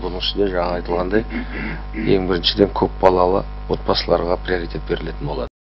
бұның ішінде жаңағы айтылғандай ең біріншіден көпбалалы отбасыларға приоритет берілетін болады